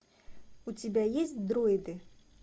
у тебя есть дроиды